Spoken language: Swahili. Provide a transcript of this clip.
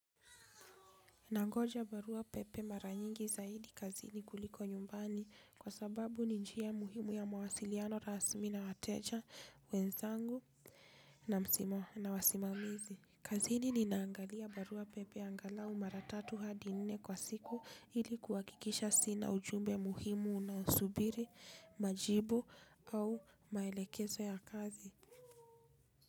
Nangoja barua pepe mara nyingi zaidi kazini kuliko nyumbani kwa sababu ni njia muhimu ya mawasiliano rasmi na wateja wenzangu na wasimamizi. Kazini ninaangalia barua pepe angalau mara tatu hadi nne kwa siku, ili kuhakikisha sina ujumbe muhimu unaousubiri, majibu au maelekezo ya kazi.